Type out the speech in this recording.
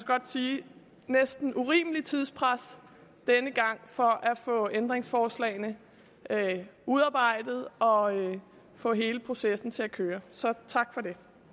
godt sige næsten urimeligt tidspres denne gang for at få ændringsforslagene udarbejdet og få hele processen til at køre så tak